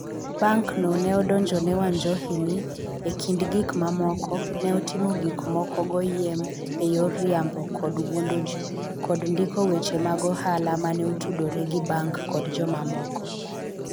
Bankno ne odonjone Wanjohi ni, e kind gik mamoko, ne otimo gik moko goyiem e yor riambo kod wuondo ji, kod ndiko weche mag ohala ma ne otudore gi bank kod jomamoko.